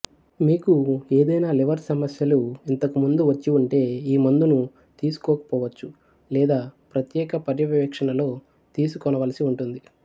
మీకు ఎదైన లివర్ సమస్యలు ఇంతకు ముందు వచ్చివుంటె ఈ మందును తీసుకొకపొవచ్చు లేదా ప్రత్యేక పర్యవేక్షణలో తీసుకొనవలసి ఉంటుంది